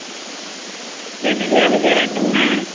ஜெனிலிய விஜய் ரெண்டுமே.